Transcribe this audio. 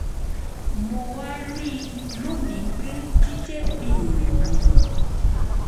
mo wá rí i lónìí pé jíjẹ́ ẹni